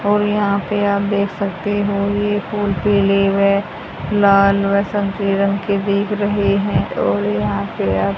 और यहां पे आप देख सकते हो ये लाल व संतरी रंग के दिख रहे हैं और यहां पे आप--